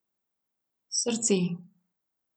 Srce.